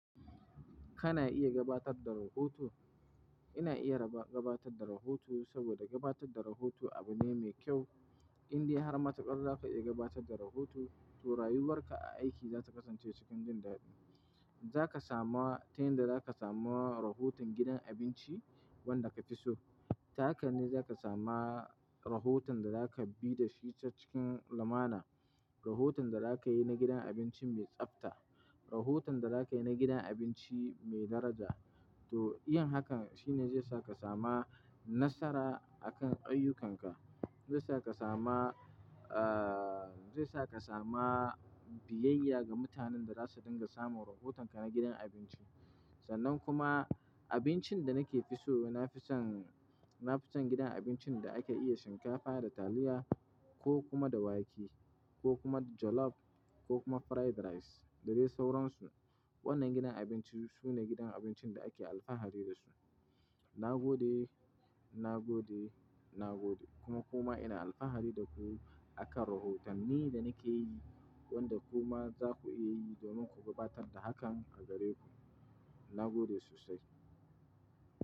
Kana iya gabatar da rahoto? Ina iya raba gabatar da rahoto saboda gabatar da rahoto abu ne mai kyau, indai har ma tukar za ka iya gabatar da rahoto, to rayuwar ka a aiki za ta kasance cikin dindi. Za ka sama ta yanda za ka sama rahoton gidan abinci wanda ka fi so. Ta haka ne za ka sama rahoton da za ka bi da shi ta cikin lamana. Rahoton da za ka yi na gidan abinci mai tsafta, rahoton da za ka yi na gidan abinci mai daraja, to yin hakan shine zai sa ka sama nasara a kan ayyukanka. Zaisa ka sama, zaisa ka sama biyayya ga mutanan da zasu dinga samun rohotanka na gidan abinchin. Sannan kuma abincin da nake fi so, na fi son, na fi son gidan abincin da ake iya shinkafa da taliya ko kuma da wake ko kuma jollof ko kuma fried rice da dai sauransu. Wannan gidan abinci su ne gidan abincin da ake alfahari da su. Na gode, na gode, na gode kuma ku ma ina alfahari da ku a kan rahoton ni da nake yi, wanda ku ma za ku iya yi domin ku gabatar da hakan a gare ku. Na gode sosai.